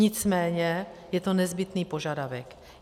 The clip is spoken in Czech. Nicméně je to nezbytný požadavek.